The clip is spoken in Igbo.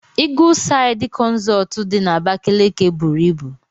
Eagleside consult did na Abakaliki buru ibu.